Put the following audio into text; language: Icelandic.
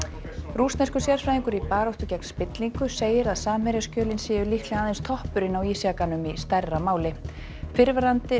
rússneskur sérfræðingur í baráttu gegn spillingu segir að séu líklega aðeins toppurinn á ísjakanum í stærra máli fyrrverandi